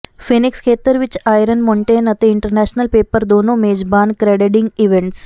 Phoenix ਖੇਤਰ ਵਿੱਚ Iron Mountain ਅਤੇ ਇੰਟਰਨੈਸ਼ਨਲ ਪੇਪਰ ਦੋਨੋ ਮੇਜਬਾਨ ਕ੍ਰੈਡੈਡਿੰਗ ਇਵੈਂਟਸ